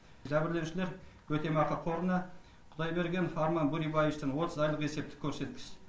жәбірленушілер өтемақы қорына құдайбергенов арман бөребаевичтен отыз айлық есептік көреткіш